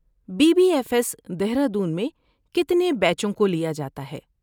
Be B F S, Dehradun میں کتنے بیچوں کو لیا جاتا ہے؟